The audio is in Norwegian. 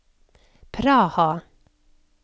Praha